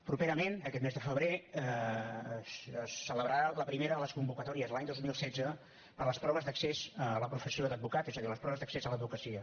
properament aquest mes de febrer es celebrarà la primera de les convocatòries de l’any dos mil setze per a les proves d’accés a la professió d’advocat és a dir les proves d’accés a l’advocacia